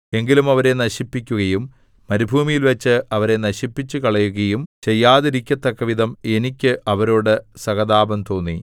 എങ്കിലും അവരെ നശിപ്പിക്കുകയും മരുഭൂമിയിൽവച്ച് അവരെ നശിപ്പിച്ചുകളയുകയും ചെയ്യാതിരിക്കത്തക്കവിധം എനിക്ക് അവരോടു സഹതാപം തോന്നി